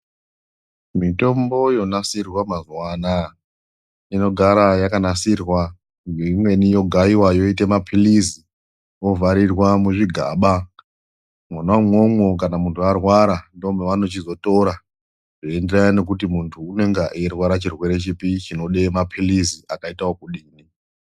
Mitombo yonasirwa mazuva anaya inogara yakanasirwa, imweni yogayiwa yoite maphirizi, yovharirwe muzvigaba, mona umwomwo kana muntu arwara ndomavanochizotora zveienderana nekuti muntu unenge eirwara chirwere chipi chinode maphirizi akaite okudini.